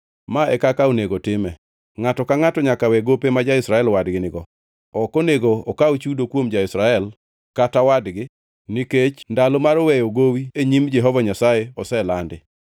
Ma e kaka onego time: Ngʼato ka ngʼato nyaka we gope ma ja-Israel wadgi nigo. Ok onego okaw chudo kuom ja-Israel kata wadgi nikech ndalo mar weyo gowi e nyim Jehova Nyasaye oselandi.